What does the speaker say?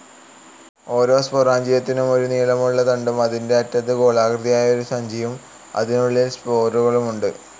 ഓരോ സ്പൊറാഞ്ചിയത്തിനും ഒരു നീളമുള്ള തണ്ടും അതിന്റെ അറ്റത്ത് ഗോളാകൃതിയായ ഒരു സഞ്ചിയും അതിനുള്ളിൽ സ്പോറുകളുമുണ്ട്.